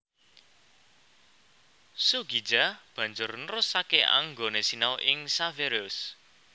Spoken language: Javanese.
Soegija banjur nerusaké anggoné sinau ing Xaverius